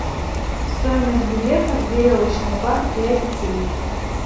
стоимость билета в веревочный парк для детей